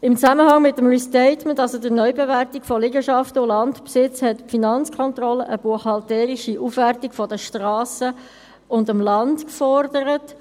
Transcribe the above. In Zusammenhang mit dem Restatement, also der Neubewertung von Liegenschaften und Landbesitz, forderte die Finanzkontrolle eine buchhalterische Bewertung der Strassen und des Landes.